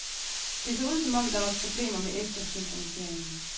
Det så ud som om, der var problemer med eftersynkroniseringen.